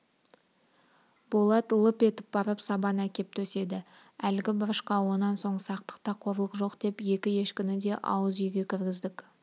болат лып етіп барып сабан әкеп төседі әлгі бұрышқа онан соң сақтықта қорлық жоқ деп екі ешкіні де ауыз үйге кіргіздік